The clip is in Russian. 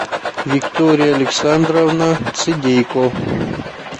виктория александровна цидейко